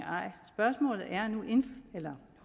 eller